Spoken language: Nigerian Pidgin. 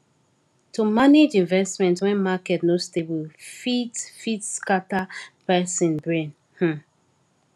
to manage investment when market no stable fit fit scatter person brain um